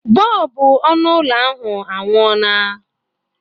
Bọlbụ ọnụ ụlọ ahụ anwụọla.